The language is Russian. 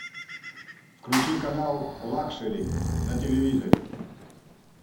включи канал лакшери на телевизоре